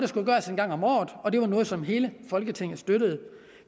skulle gøres en gang om året og det var noget som hele folketinget støttede